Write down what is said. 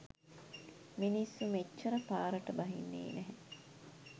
මිනිස්සු මෙච්චර පාරට බහින්නේ නැහැ.